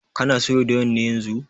Kana soya doyan ne yanzun?